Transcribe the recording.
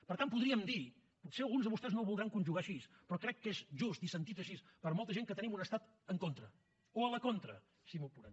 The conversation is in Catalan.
per tant podríem dir potser alguns de vostès no ho voldran conjugar així però crec que és just i sentit així per molta gent que tenim un estat en contra o a la contra si m’ho apuren